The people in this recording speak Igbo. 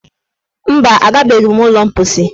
Mba, agabeghị m ụlọ mposi.